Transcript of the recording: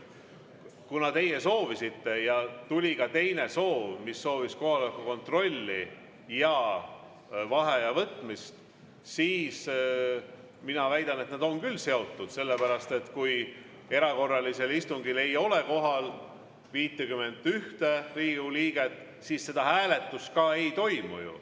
Kuna teie soovisite ja tuli ka teine palve, mis soovis kohaloleku kontrolli ja vaheaja võtmist, siis mina väidan, et need on küll seotud, sellepärast et kui erakorralisel istungil ei ole kohal 51 Riigikogu liiget, siis seda hääletust ju ei toimu.